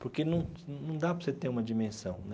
Porque não não dá para você ter uma dimensão né.